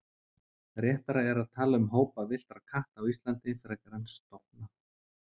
réttara er að tala um hópa villtra katta íslandi frekar en stofna